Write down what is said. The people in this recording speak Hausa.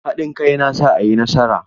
Haɗin kai yana sa a yi nasara.